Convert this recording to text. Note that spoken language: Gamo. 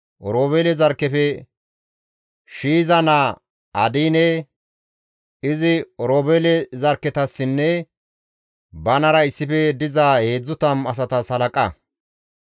Oroobeele zarkkefe Shiiza naa Adiine; izi Oroobeele zarkketassinne banara issife diza 30 asatas halaqa.